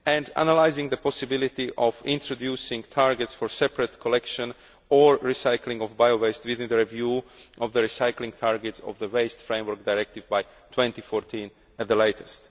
and analysing the possibility of introducing targets for separate collection or recycling of bio waste within the review of the recycling targets of the Waste Framework Directive by 2014 at the latest.